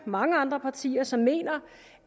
mange andre partier som mener